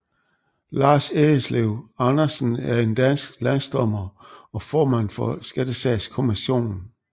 Lars Edslev Andersen er en dansk landsdommer og formand for Skattesagskommissionen